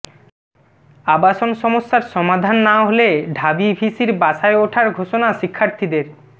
আবাসন সমস্যার সমাধান না হলে ঢাবি ভিসির বাসায় ওঠার ঘোষণা শিক্ষার্থীদের